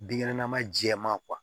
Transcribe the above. Binkɛnɛma jɛman